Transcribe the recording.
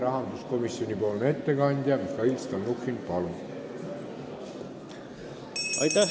Rahanduskomisjoni ettekandja Mihhail Stalnuhhin, palun!